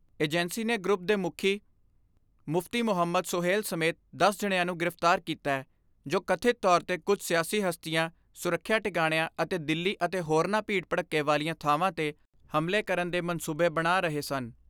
Agency ਨੇ group ਦੇ ਮੁਖੀ ਮੁਫਤੀ ਮੁਹੰਮਦ ਸੁਹੇਲ ਸਮੇਤ ਦਸ ਜਣਿਆਂ ਨੂੰ ਗ੍ਰਿਫਤਾਰ ਕੀਤੈ, ਜੋ ਕਥਿਤ ਤੌਰ 'ਤੇ ਕੁਝ ਸਿਆਸੀ ਹਸਤੀਆਂ ਸੁਰੱਖਿਆ ਟਿਕਾਣਿਆਂ ਅਤੇ ਦਿੱਲੀ ਅਤੇ ਹੋਰਨਾਂ ਭੀੜ ਭੜੱਕੇ ਵਾਲੀਆਂ ਥਾਵਾਂ 'ਤੇ ਹਮਲੇ ਕਰਨ ਦੇ ਮਨਸੂਬੇ ਬਣਾ ਰਹੇ ਸਨ।